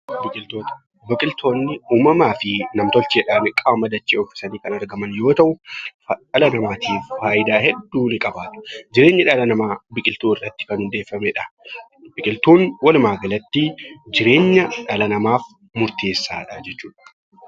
Biqiltoota: Biqiltoonni uumamaa fi nam-tolcheedhaan qaama dachee uwwisanii kan argaman yoo ta’u, dhala namaatiif faayidaa hedduu ni qaba. Jireenyi dhala namaa biqiltuu irratti kan hundaa'edha. Biqiltuun walumaa galatti jireenya dhala namaaf murteessaadha jechuudha.